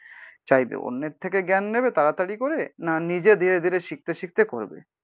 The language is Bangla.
চাইবে। অন্যের থেকে জ্ঞান নেবে তাড়াতাড়ি করে না নিজে ধীরে ধীরে শিখতে শিখতে করবে।